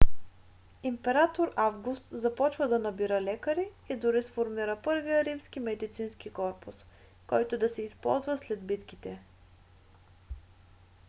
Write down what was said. император август започва да набира лекари и дори сформира първия римски медицински корпус който да се използва след битките